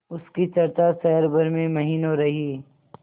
उसकी चर्चा शहर भर में महीनों रही